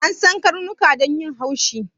An san karnuka da yin haushi